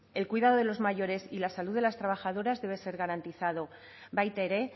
el cuidado de los mayores y la salud de las trabajadoras debe ser garantizado baita ere